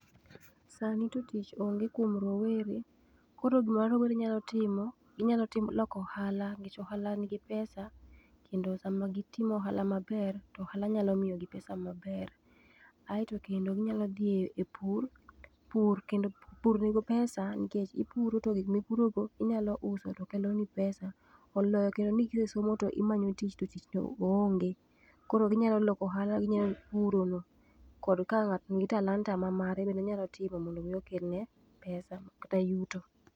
Sani to tich onge kuom rowere koro gima rowere nyalo timo, ginyalo loko ohala, nikech ohala nigi pesa kendo sama gitimo ohala maber to ohala nyalo miyogi pesa maber. Ae to kendo ginyalo dhi e pur. Pur, kend pur nigi pesa ipuro to gik mipurogo inyalo uso tokeloni pesa. Oloyo kendo ni kise somo to imanyo tich to tich to oonge. Koro ginyalo loko ohala, ginyalo puro lowo kod ka ng'ato nigi talanta mma are onyalo timo mondo okelne [cs6 pesa kata yuto.